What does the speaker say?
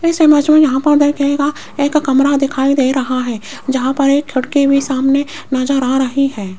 इस इमेज में यहां पर देखिएगा एक कमरा दिखाई दे रहा है जहां पर एक खिड़की भी सामने नजर आ रही है।